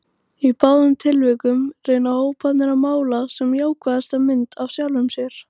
Í báðum tilvikum reyna hóparnir að mála sem jákvæðasta mynd af sjálfum sér.